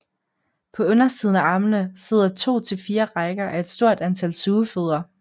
På undersiden af armene sidder to til fire rækker af et stort antal sugefødder